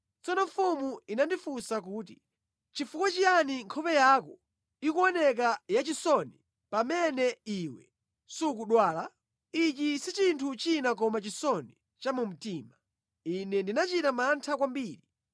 Tsono mfumu inandifunsa kuti, “Nʼchifukwa chiyani nkhope yako ikuoneka yachisoni pamene iwe sukudwala? Ichi si chinthu china koma chisoni cha mu mtima.” Ine ndinachita mantha kwambiri.